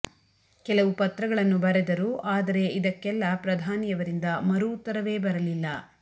ಕೆಲವು ಪತ್ರಗಳನ್ನು ಬರೆದರು ಆದರೆ ಇದಕ್ಕೆಲ್ಲಾ ಪ್ರಧಾನಿಯವರಿಂದ ಮರು ಉತ್ತರವೇ ಬರಲಿಲ್ಲ